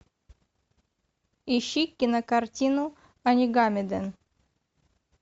ищи кинокартину онигамиден